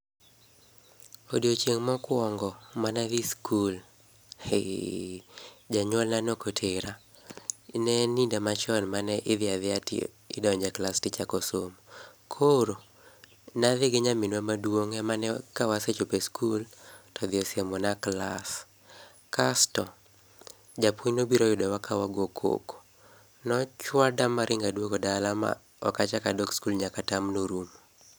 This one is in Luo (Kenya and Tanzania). Odiochieng' mokwongo manadhi skul, heee! janyuolna nokotera. Neen iga machon manidhiadhia ti idonje klas tichako somo. Koro, nadhi gi nyaminwa maduong' emane kawasechope skul to odhi osiemona klas. Kasto, japuonj nobiro oyudowa kawagokoko. Nochwada maringa duogo dala ma okachaka dok skul nyaka term no orumo.